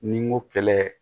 Ni n ko kɛlɛ